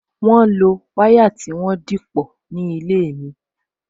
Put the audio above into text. Wọn lo wire tí wọ́n dìpọ̀ ní ilé mi